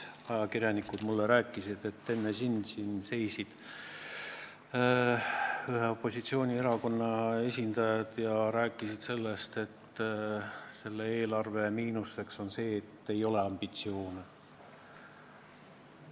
Ajakirjanikud ütlesid mulle, et enne sind seisid siin ühe opositsioonierakonna esindajad ja rääkisid, et selle eelarve miinuseks on see, et ambitsioone ei ole.